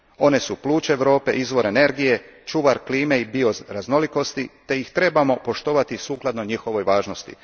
one su pluća Europe, izvor energije, čuvar klime i bioraznolikosti te ih trebamo poštovati sukladno njihovoj važnosti.